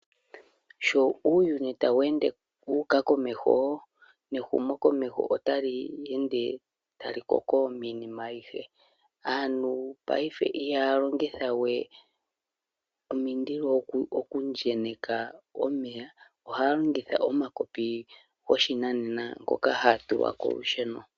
Sho uuyuni tawu ende wuka komeho, nehumo komeho otali ende talikoko minima ayihe, aantu payife iha longithawe omililo okwenyeka omeya, oha longitha omakopi goshinanena ngoka hagatulwa kolusheno.